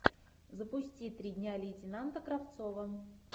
запусти три дня лейтенанта кравцова